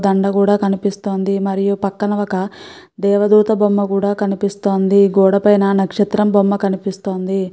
దండ కూడా కనిపిస్తోంది. మరియు పక్కన ఒక దేవదూత బొమ్మ కూడా కనిపిస్తోంది. గోడ పైన నక్షత్రం బొమ్మ కనిపిస్తోంది.